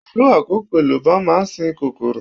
Pelu àkókò, èlùbọ̀ máa ń sin kòkòrò.